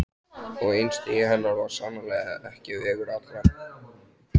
Og einstigi hennar var sannarlega ekki vegur allra.